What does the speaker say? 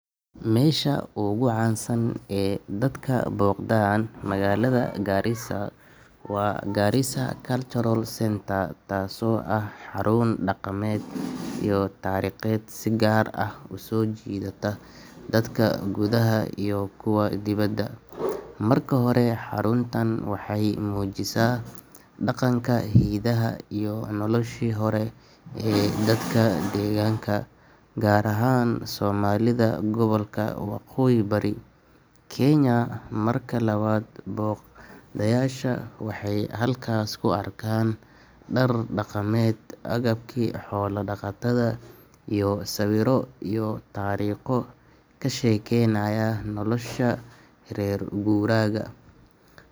Harada ugu weyn ee gobolka Nyanza waa harada Victoria, taasoo ah harada ugu weyn Afrika kana mid ah kuwa ugu waaweyn dunida. Marka hore, haradan waxay ku taallaa xadka u dhexeeya Kenya, Uganda, iyo Tanzania, iyadoo qaybteeda ugu weyn ay ku taallo gobolka Nyanza ee dalka Kenya. Marka labaad, harada Victoria waxay ka mid tahay isha biyaha ugu muhiimsan ee laga helo kalluunka, gaar ahaan kalluunka loo yaqaan Nile Perch, kaasoo dhaqaale badan soo geliya dadka deegaanka.